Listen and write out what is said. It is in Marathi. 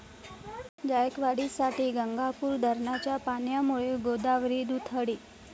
जायकवाडीसाठी गंगापूर धरणाच्या पाण्यामुळे गोदावरी दुथडी